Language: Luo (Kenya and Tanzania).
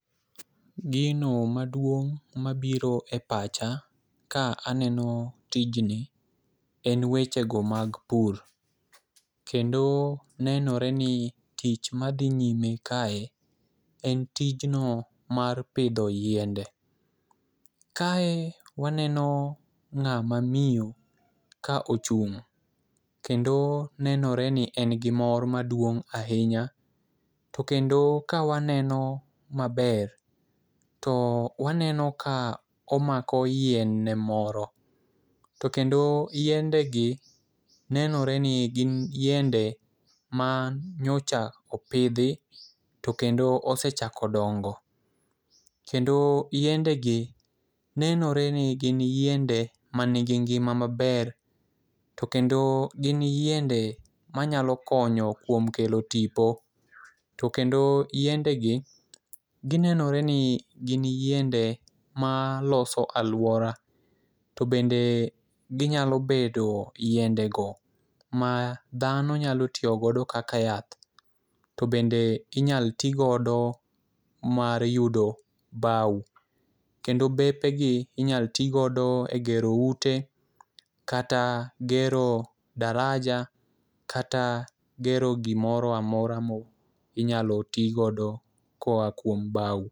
Gino maduong' mabiro e pacha ka aneno tijni, en wechego mag pur, kendo nenore ni tich madhi nyime kae en tijno mar pidho yiende. Kae waneno ng'ama miyo ka ochung' kendo nenore ni en gimor maduong' ahinya, to kendo ka waneno maber, to waneno ka omako yienne moro, to kendo yiendegi nenore ni gin yiende ma nyocha opidhi to kendo osechako dongo, kendo yiendegi nenore ni gin yiende manigi ngima maber to kendo gin yiende manyalo konyo kuom kelo tipo. To kendo yiendegi ginenore ni gin yiende maloso alwora, to bende ginyalo bedo yiendego ma dhano nyalo tiyo godo kaka yath, to bende inyalo ti godo mar yudo baw kendo bepegi inyalo ti godo e gero ute kata gero daraja kata gero gimoro amora ma inyalo ti godo koa kuom baw.